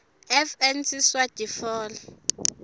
fn siswati fal